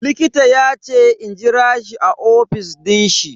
Likita yace in jira shi a ofis din shi.